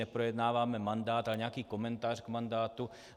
Neprojednáváme mandát, ale nějaký komentář k mandátu.